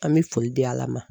An mi foli di ala ma